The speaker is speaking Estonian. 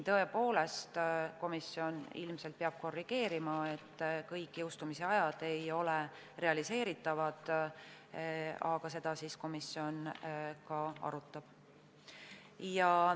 Tõepoolest, komisjon ilmselt peab seda korrigeerima, kõik jõustumisajad ei ole realiseeritavad, aga seda komisjon arutab.